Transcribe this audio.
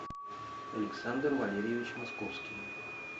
александр валерьевич московский